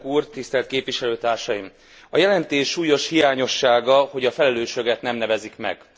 Tisztelt Elnök úr! Tisztelt Képviselőtársaim! A jelentés súlyos hiányossága, hogy a felelősöket nem nevezik meg.